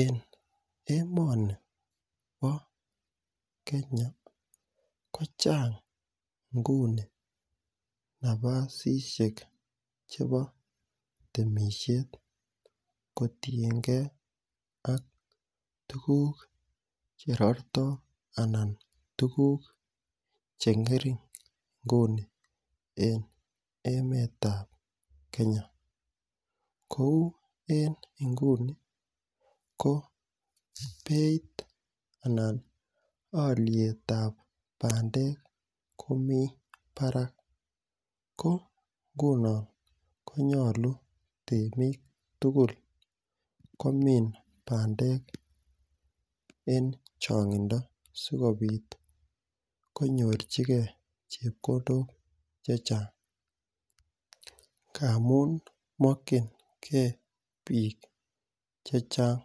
En emeoni bo Kenya kocheng nguni nabasisiek chebo temishet kotiyengee ak tukuk cherorto ana tukuk chengering nguni en emetab Kenya, kou en inguni ko beit anan okietab pandek komoi barak ko inhunon komyolu temik tukuk komin pandek en chongindo sikopit konyochigee chepkondok chechang ngamun mokingee bik chechang.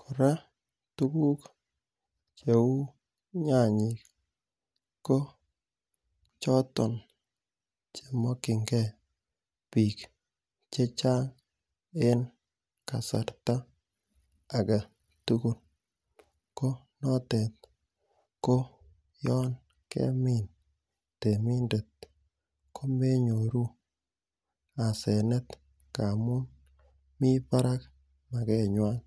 Koraa tukuk cheu nyanyik ko choton chemokingee bio chechang en kasarta agetukul ko notet ko yon kemin temindet komenyoru asenet ngamun mii bakak makenywan.